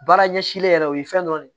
Baara ɲɛsilen yɛrɛ o ye fɛn dɔ de